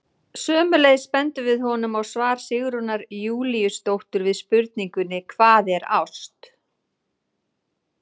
Sömuleiðis bendum við honum á svar Sigrúnar Júlíusdóttur við spurningunni Hvað er ást?